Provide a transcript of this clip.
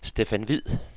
Stefan Hvid